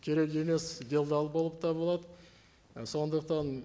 керек емес делдал болып табылады ы сондықтан